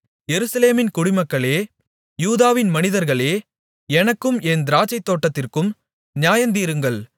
எருசலேமின் குடிமக்களே யூதாவின் மனிதர்களே எனக்கும் என் திராட்சைத்தோட்டத்திற்கும் நியாயந்தீருங்கள்